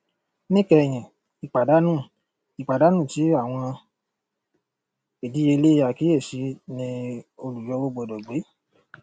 níkẹyìn ìpàdánù ìpàdánù ti àwọn ìdíyelé àkíyèsí ni olùyọwó gbọdọ gbé